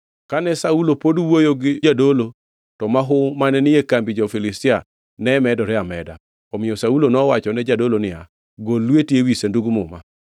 Kane Saulo pod wuoyo gi jadolo, to mahu mane ni e kambi jo-Filistia ne medore ameda. Omiyo Saulo nowachone jadolo niya, “Gol lweti ewi Sandug Muma.”